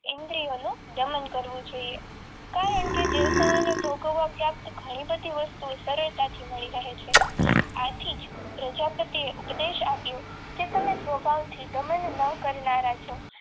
ઇન્દ્રિયોનું દમન કરવું જોઈએ કારણ કે દેવતાઓને ભોગવવા પ્રાપ્ત વસ્તુઓ ઘણી બધી સરળતાથી મળી રહે છે આથી જ પ્રજાપતિ ઉપદેશ આપ્યો કે તમે